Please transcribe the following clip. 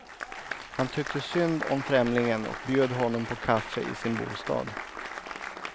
Han tyckte synd om främlingen och bjöd honom på kaffe i sin bostad.